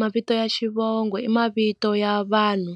Mavito ya xivongo i mavito ya vanhu